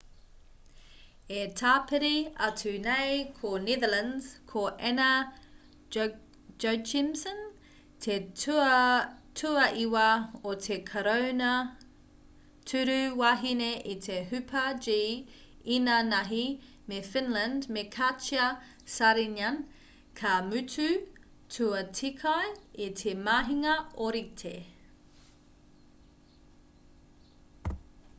e tāpiri atu nei ko netherlands ko anna jochemsen te tuaiwa o te karauna tūru wahine i te hupa-g īnānahi me finland me katja saarinen ka mutu tuatekai i te mahinga ōrite